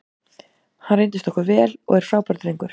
Hann reyndist okkur vel og er frábær drengur.